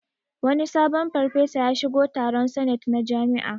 Wani sabon farfesa ya shigo taron sanet na jami'a